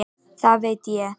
Það veit ég